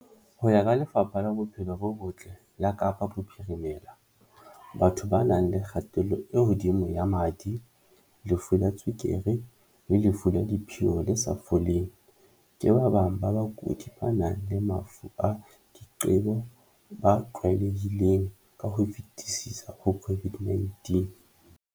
Ho ya ka Lefapha la Bophelo bo Botle la Kapa Bophirime-la, batho ba nang le kgatello e hodimo ya madi, lefu la tswe-kere le lefu la diphio le sa foleng, ke ba bang ba bakudi ba nang le mafu a diqebo ba tlwaelehileng ka ho fetisisa ho COVID-19.